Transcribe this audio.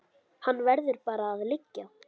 Hann verður bara að liggja.